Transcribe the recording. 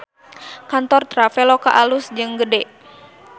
Kantor Traveloka alus jeung gede